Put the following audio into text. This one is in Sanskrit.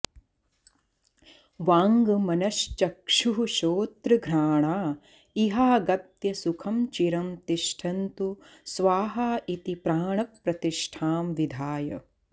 वाड्मनश्चक्षुःश्रोत्रघ्राणा इहागत्य सुखं चिरं तिष्ठन्तु स्वाहा इति प्राणप्रतिष्ठां विधाय